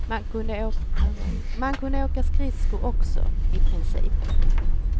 Man kunde åka skridskor också, i princip.